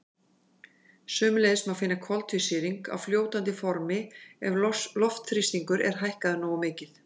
Sömuleiðis má finna koltvísýring á fljótandi formi ef loftþrýstingur er hækkaður nógu mikið.